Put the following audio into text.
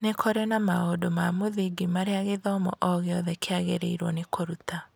Nĩ kwarĩ na maũndũ ma mũthingi marĩa gĩthomo o gĩothe kĩagĩrĩirũo nĩ kũruta.